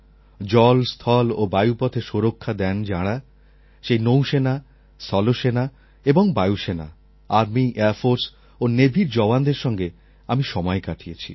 জল স্থল ও বায়ুপথে সুরক্ষা দেন যাঁরা সেই জলসেনা স্থলসেনা এবং বায়ুসেনা আর্মি এয়ারফোর্স ও নেভির জওয়ানদের সঙ্গে আমি সময় কাটিয়েছি